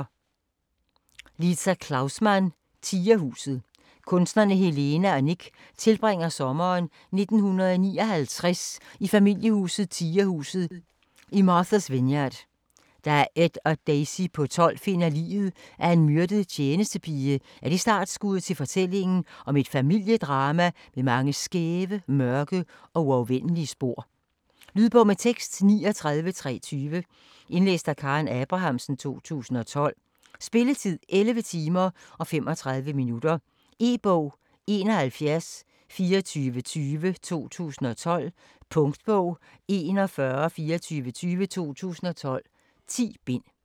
Klaussmann, Liza: Tigerhuset Kusinerne Helena og Nick tilbringer sommeren 1959 i familiehuset "Tigerhuset" i Marthas Vineyard. Da Ed og Daisy på 12 finder liget af en myrdet tjenestepige er det startskuddet til fortællingen om et familiedrama med mange skæve, mørke og uafvendelige spor. Lydbog med tekst 39320 Indlæst af Karen Abrahamsen, 2012. Spilletid: 11 timer, 35 minutter. E-bog 712420 2012. Punktbog 412420 2012. 10 bind.